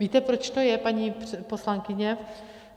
Víte proč to je, paní poslankyně?